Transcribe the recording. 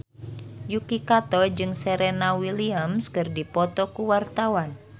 Yuki Kato jeung Serena Williams keur dipoto ku wartawan